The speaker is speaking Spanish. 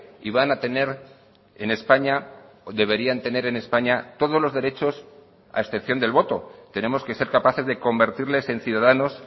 y van a tener en españa deberían tener en españa todos los derechos a excepción del voto tenemos que ser capaces de convertirles en ciudadanos